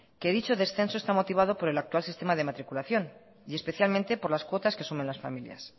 que dicho descenso está motivado por el actual sistema de matriculación y especialmente por las cuotas que asumen las familias